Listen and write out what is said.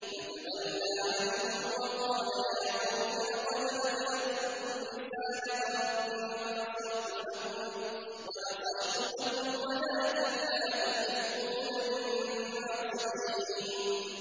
فَتَوَلَّىٰ عَنْهُمْ وَقَالَ يَا قَوْمِ لَقَدْ أَبْلَغْتُكُمْ رِسَالَةَ رَبِّي وَنَصَحْتُ لَكُمْ وَلَٰكِن لَّا تُحِبُّونَ النَّاصِحِينَ